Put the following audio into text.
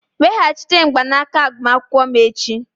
Weghachite mgbanaka agbamakwụkwọ m echi!